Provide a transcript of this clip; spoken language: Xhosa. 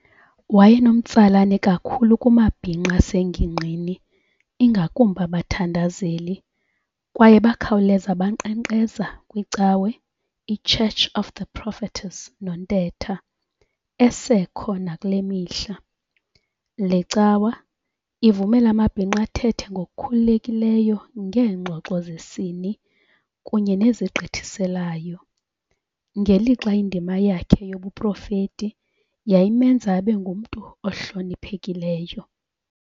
Wayenomtsalane kakhulu kumabhinqa asengingqini, ingakumbi abathandazeli, kwaye bakhawuleza bankqenkqeza kwicawe I"Church of the Prophetess Nontetha" esekho nakulemihla. Le cawa ivumela amabhinqa athethe ngokukhululekileyo ngeengxoxo zesini kunye nezigqithiselayo, ngelixa indima yakhe yobuprofeti yayimenza abengumntu ohloniphekileyo.